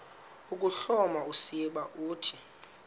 ukuhloma usiba uthi